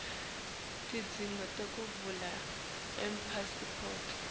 tidzingo tekuvala ipasiphoti